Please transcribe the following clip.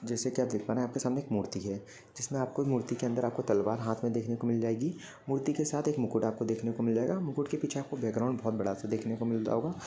जैसे की आप देख पा रहे है आपके सामने एक मूर्ति है। जिसमे आपको मूर्ति के अंदर तलवार हाथ मे देखने को मिल जाएगी मूर्ति के साथ एक मुकुट देखने को मिल जाएगा। मुकुट के पीछे बैकग्राउंड आपको बहुत बड़ा सा देखने को मिलता होगा।